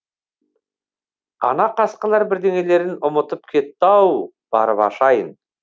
ана қасқалар бірдеңелерін ұмытып кетті ау барып ашайын